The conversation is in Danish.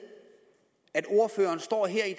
at ordføreren står her i